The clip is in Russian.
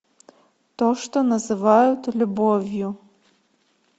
то что называют любовью